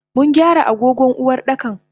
Mungyara agogon Uwardakan.